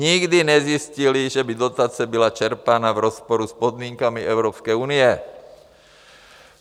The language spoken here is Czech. nikdy nezjistily, že by dotace byla čerpána v rozporu s podmínkami Evropské unie.